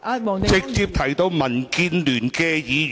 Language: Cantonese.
她有直接提到民建聯議員。